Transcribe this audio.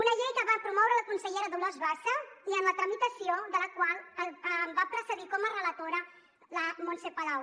una llei que va promoure la consellera dolors bassa i en la tramitació de la qual em va precedir com a relatora la montse palau